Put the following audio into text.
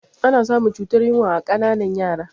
Ana samun cutar yunwa a ƙananan yara